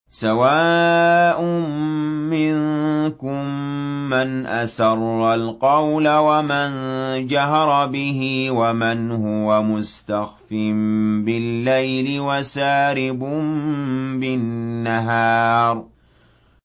سَوَاءٌ مِّنكُم مَّنْ أَسَرَّ الْقَوْلَ وَمَن جَهَرَ بِهِ وَمَنْ هُوَ مُسْتَخْفٍ بِاللَّيْلِ وَسَارِبٌ بِالنَّهَارِ